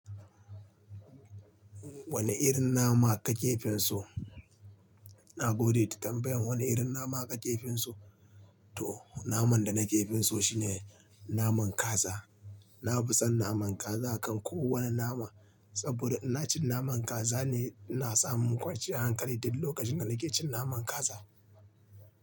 Wane irin nama kake fin so? Na gode da bayyan wane irin nama kake fin so. To naman da na ke fin so shine naman kaza. Na fi son naman kaza akan kowane nama saboda ina cin naman kaza ne, ina samu kwanciyar hankali duk lokacin da nake cin naman kaza.